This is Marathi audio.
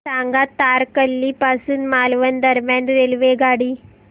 सांगा तारकर्ली पासून मालवण दरम्यान रेल्वेगाडी